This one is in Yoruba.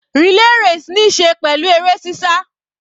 Relay race níí ṣe pẹ̀lú eré sísá.